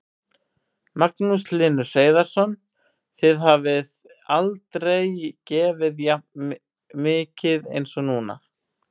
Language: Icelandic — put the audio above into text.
Magnús Hlynur Hreiðarsson: Þið hafið aldrei gefið jafn mikið eins og núna?